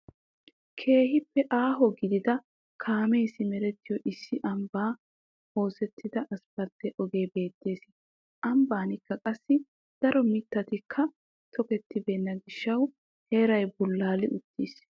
Keehiippe aaho gidida kaamee simerettiyo issi ambban oosettida aspalte ogee bettees. Ambbannilka qassi daro mittatika tokkettibeena gishshawu heeray bullali utttiis.